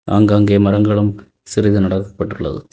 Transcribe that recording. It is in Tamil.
ஆங்காங்கே மரங்களும் சிறிது நட பட்டுள்ளது.